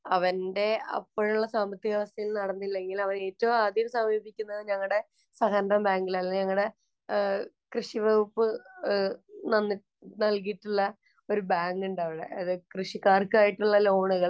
അവന്‍റെ അപ്പോഴുള്ള സാമ്പത്തികാവസ്ഥയില്‍ നടന്നില്ലെങ്കില്‍ അവന്‍ ഏറ്റവും ആദ്യം സമീപിക്കുന്നത് ഞങ്ങടെ സഹകരണബാങ്കില്‍, അല്ലെങ്കില്‍ ഞങ്ങടെ കൃഷിവകുപ്പ് നൽ, നല്‍കിയിട്ടുള്ള ഒരു ബാങ്ക് ഉണ്ടവിടെ. കൃഷിക്കാര്‍ക്ക് ആയിട്ടുള്ള ലോണുകള്‍,